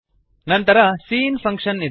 ನಂತರ C in function ಇದೆ